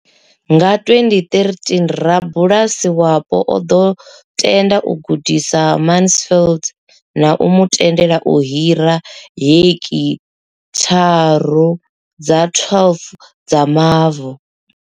Nga 2013, rabulasi wapo o ḓo tenda u gudisa Mansfield na u mu tendela u hira heki tharu dza 12 dza mavu.